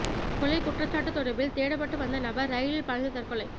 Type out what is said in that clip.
கொலை குற்றச்சாட்டு தொடர்பில் தேடப்பட்டுவந்த நபர் ரயிலில் பாய்ந்து தற்கொலை